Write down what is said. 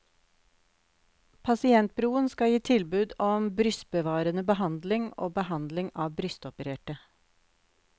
Pasientbroen skal gi tilbud om brystbevarende behandling og behandling av brystopererte.